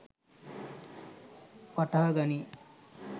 වටහා ගනියි.